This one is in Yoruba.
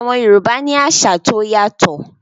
Àwọn Yorùbá ní àṣà tí ó yàtọ̀